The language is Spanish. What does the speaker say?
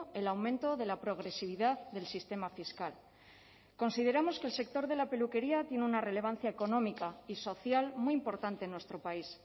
el aumento de la progresividad del sistema fiscal consideramos que el sector de la peluquería tiene una relevancia económica y social muy importante en nuestro país